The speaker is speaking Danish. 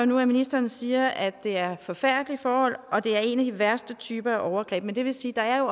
nu at ministeren siger at det er forfærdelige forhold og det er en af de værste typer af overgreb men det vil sige at